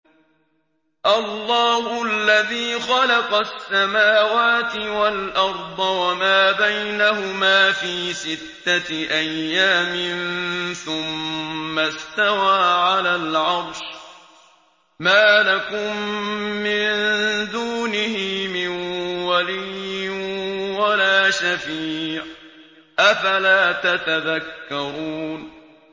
اللَّهُ الَّذِي خَلَقَ السَّمَاوَاتِ وَالْأَرْضَ وَمَا بَيْنَهُمَا فِي سِتَّةِ أَيَّامٍ ثُمَّ اسْتَوَىٰ عَلَى الْعَرْشِ ۖ مَا لَكُم مِّن دُونِهِ مِن وَلِيٍّ وَلَا شَفِيعٍ ۚ أَفَلَا تَتَذَكَّرُونَ